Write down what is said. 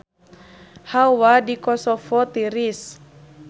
Hawa di Kosovo tiris